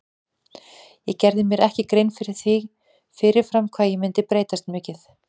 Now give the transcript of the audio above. Ég gerði mér ekki grein fyrir því fyrir fram hvað ég myndi breytast mikið.